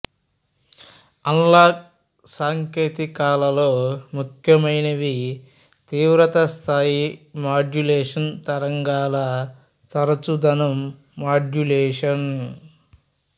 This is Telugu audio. అనలాగ్ సాంకేతికాలలో ముఖ్యమైనవి తీవ్రత స్థాయి మాడ్యులేషన్ తరంగాల తరచుదనం మాడ్యులేషన్